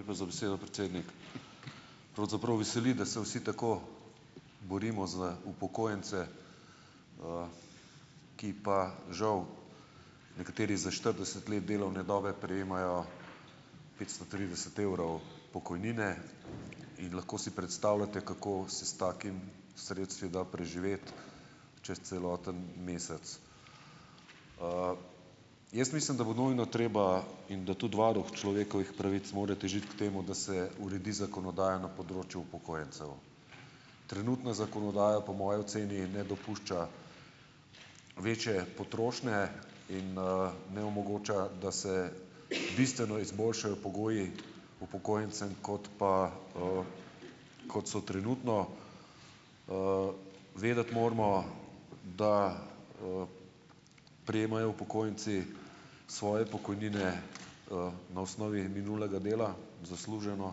Lepa za besedo, predsednik. Pravzaprav veseli, da se vsi tako borimo za upokojence, ki pa žal nekateri za štirideset let delovne dobe prejemajo petsto trideset evrov pokojnine, in lahko si predstavljate, kako se s takimi sredstvi da preživeti čez celoten mesec. jaz mislim, da bo nujno treba in da tudi varuh človekovih pravic mora težiti k temu, da se uredi zakonodaja na področju upokojencev, trenutna zakonodaja po moji oceni ne dopušča večje potrošnje in, ne omogoča, da se bistveno izboljšajo pogoji upokojencem kot pa, kot so trenutno, vedeti moramo, da, prejemajo upokojenci svoje pokojnine na osnovi minulega dela zasluženo